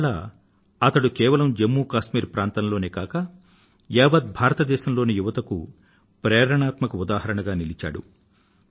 ఇవాళ అతడు కేవలం జమ్ము కశ్మీర్ ప్రాంతంలోనే కాక యావత్ దేశంలోని యువతకూ ప్రేరణాత్మక ఉదాహరణగా నిలచాడు